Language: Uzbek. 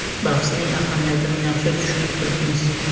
Bahsning ahamiyatini yaxshi tushunib turibmiz.